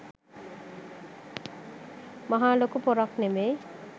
මහා ලොකු පොරක් නෙවෙයි.